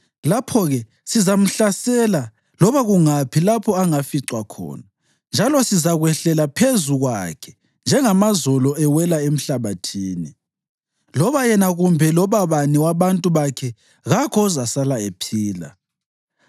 Lapho-ke sizamhlasela loba kungaphi lapho angaficwa khona, njalo sizakwehlela phezu kwakhe njengamazolo ewela emhlabathini. Loba yena kumbe loba bani wabantu bakhe kakho ozasala ephila.